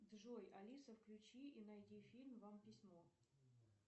джой алиса включи и найди фильм вам письмо